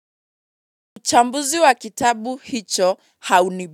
Uchambuzi wa kitabu hicho.